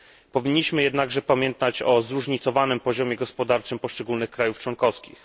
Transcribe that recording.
Powinniśmy jednakże pamiętać o zróżnicowanym poziomie gospodarczym poszczególnych państw członkowskich.